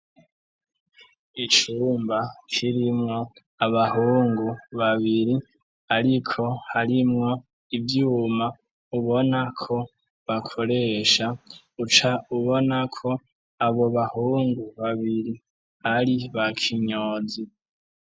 Icumba kirimwo abahungu babiri, ariko harimwo ivyuma ubona ko bakoresha uca ubona ko abo bahungu babiri ari ba kinyozi.